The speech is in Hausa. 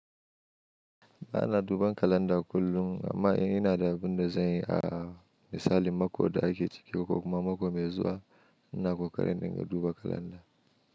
Ba na duban kalanda kullum, amma in ina da abin da zan yi a misali mako da ake ciki ko kuma mako mai zuwa, ina ƙoƙarin in dinga duba kalanda.